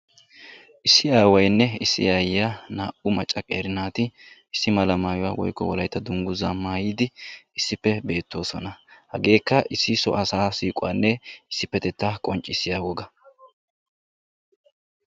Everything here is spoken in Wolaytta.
issi aawaynne aayiya qeeri naatuura dungguzaa maayidi issippe beetoosona. hegeekka issi so asa siiquwanne issipetettaa qoncccisiya woga.